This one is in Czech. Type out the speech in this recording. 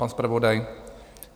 Pan zpravodaj?